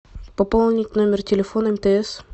пополнить номер телефона мтс